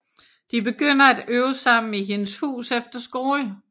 De begynder at øve sammen i hendes hus efter skole